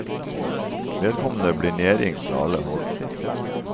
Vedkommende blir nedringt fra alle hold.